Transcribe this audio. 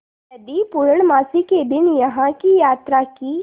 यदि पूर्णमासी के दिन यहाँ की यात्रा की